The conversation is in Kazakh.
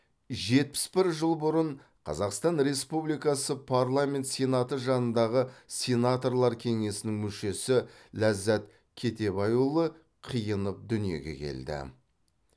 жетпіс бір жыл бұрын қазақстан республикасы парламент сенаты жанындағы сенаторлар кеңесінің мүшесі ләззат кетебайұлы қиынов дүниеге келді